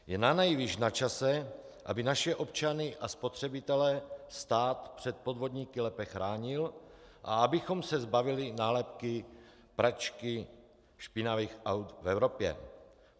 Je nanejvýš načase, aby naše občany a spotřebitele stát před podvodníky lépe chránil a abychom se zbavili nálepky pračky špinavých aut v Evropě.